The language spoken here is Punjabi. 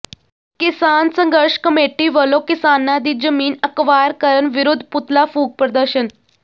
ਕਿਸਾਨ ਸੰਘਰਸ਼ ਕਮੇਟੀ ਵਲੋਂ ਕਿਸਾਨਾਂ ਦੀ ਜ਼ਮੀਨ ਅਕਵਾਇਰ ਕਰਨ ਵਿਰੁੱਧ ਪੁਤਲਾ ਫੂਕ ਪ੍ਰਦਰਸ਼ਨ